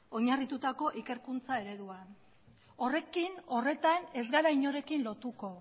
oinarritutako ikerkuntza ereduan horretan ez gara inorekin lotuko